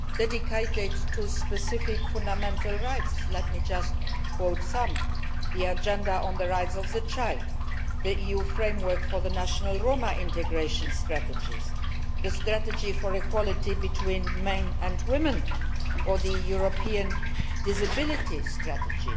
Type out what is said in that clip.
dedicated to specific fundamental rights. Let me just quote some of them the Agenda on the Rights of the Child, the EU Framework for the National Roma Integration Strategies, the Strategy for Equality between Men and Women and the European Disability Strategy.